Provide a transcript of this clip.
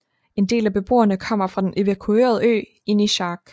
En del af beboerne kommer fra den evakuerede ø Inishark